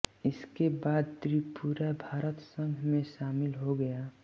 इसके बाद त्रिपुरा भारत संघ में शामिल हो गया